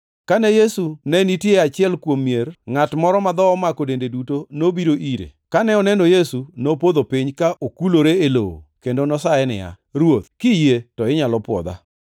Kane Yesu ne nitie e achiel kuom mier, ngʼat moro ma dhoho omako dende duto nobiro ire, kane oneno Yesu, nopodho piny ka okulore e lowo kendo nosaye niya, “Ruoth, kiyie, to inyalo pwodha.”